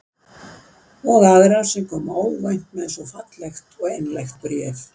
Og aðra sem kom óvænt með svo fallegt og einlægt bréf.